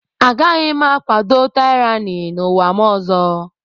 Agaghị m akwado tyranny n'ụwa m ọzọ.